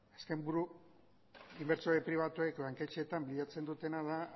azken inbertsio pribatuek banketxeetan bilatzen dutena da